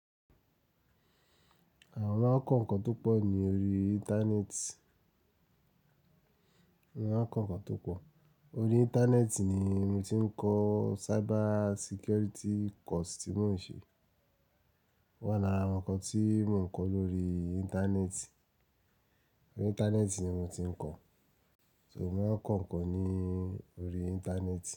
Àwa maa n ko nnkàn tó pọ̀ ní orí Íńtánẹ́ẹ̀tì. Eeyan maa n ko nnkàn tó pọ̀. Orí Íńtánẹ́ẹ̀tì ni mo ti ń kọ cyber security course tí mò ń ṣe. O wa lara àwọn nnkàn tí mò ń kọ́ lórí Íńtánẹ́ẹ̀tì. Orí Íńtánẹ́ẹ̀tì ni mò ń ti ń kọ̀. So mò maa ń kọ̀ nnkàn ní orí Íńtánẹ́ẹ̀tì.